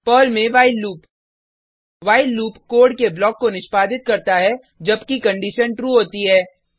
Perl में while loop while loop code के block को निष्पादित करता है जबकि कंडिशन ट्रू होती है